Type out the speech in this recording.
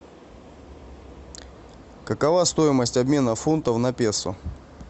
какова стоимость обмена фунтов на песо